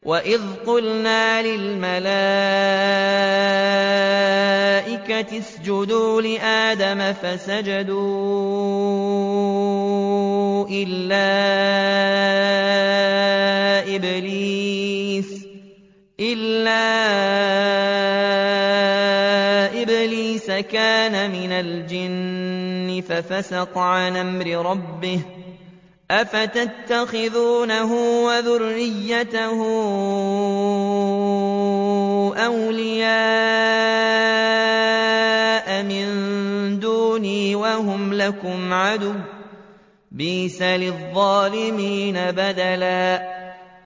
وَإِذْ قُلْنَا لِلْمَلَائِكَةِ اسْجُدُوا لِآدَمَ فَسَجَدُوا إِلَّا إِبْلِيسَ كَانَ مِنَ الْجِنِّ فَفَسَقَ عَنْ أَمْرِ رَبِّهِ ۗ أَفَتَتَّخِذُونَهُ وَذُرِّيَّتَهُ أَوْلِيَاءَ مِن دُونِي وَهُمْ لَكُمْ عَدُوٌّ ۚ بِئْسَ لِلظَّالِمِينَ بَدَلًا